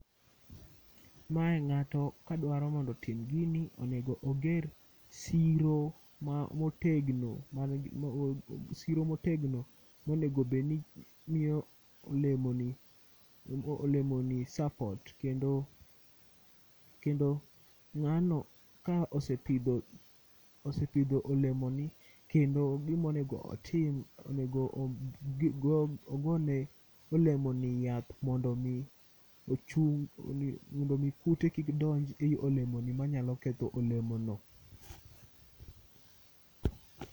Mae ng'ato kadwaro mondo otim gini onego oger siro ma motegno, manigi, siro motegno monegobedni miyo olemoni sapot. Kendo ng'ano ka osepidho olemoni kendo gimonego otim, onego ogone olemoni yath mondo mi ochung'. Mondo mi kute kik donj ei olemoni manyaketho olemo no.